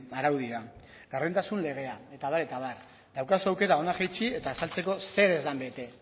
araudia gardentasun legea eta abar eta abar daukazu aukera hona jaitsi eta esateko zer ez den bete